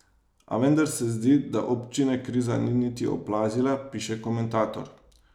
A vendar se zdi, da občine kriza ni niti oplazila, piše komentator.